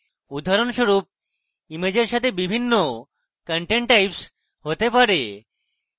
উদাহরণস্বরূপ ইমেজের সাথে বিভিন্ন content types হতে পারে